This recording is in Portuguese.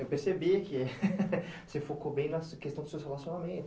Eu percebi que você focou bem na questão dos seus relacionamentos.